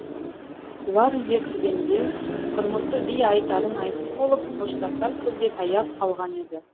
бұлар үйге кіргенде құрмысы би айтарын айтып болып қоштасар сөзге таяп қалған еді